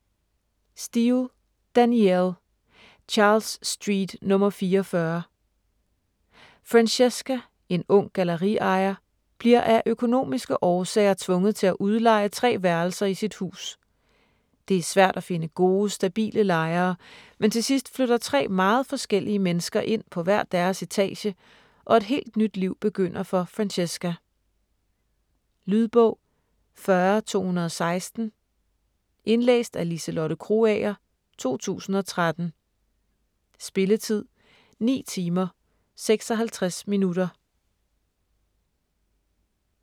Steel, Danielle: Charles Street nr. 44 Francesca, en ung galleriejer, bliver af økonomiske årsager tvunget til at udleje tre værelser i sit hus. Det er svært at finde gode, stabile lejere, men til sidst flytter tre meget forskellige mennesker ind på hver deres etage og et helt nyt liv begynder for Francesca. Lydbog 40216 Indlæst af Liselotte Krogager, 2013. Spilletid: 9 timer, 56 minutter.